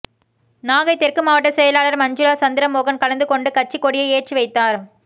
நாகை தெற்கு மாவட்டச் செயலாளா் மஞ்சுளா சந்திரமோகன் கலந்துகொண்டு கட்சிக் கொடியை ஏற்றிவைத்தாா்